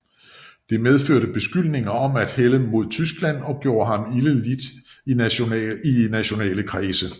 Det medførte beskyldninger om at hælde mod Tyskland og gjorde ham ilde lidt i nationale kredse